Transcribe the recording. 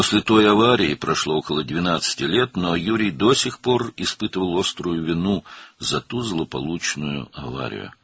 Həmin qəzadan təxminən 12 il keçmişdi, lakin Yuri hələ də o bədbəxt qəzaya görə kəskin günahkarlıq hissi keçirirdi.